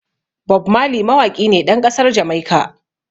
Bob Marley mawaƙi ne ɗan ƙasar Jamaica.